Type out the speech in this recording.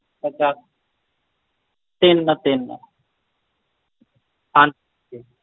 ਸੱਤ ਜੀ ਤਿੰਨ ਤਿੰਨ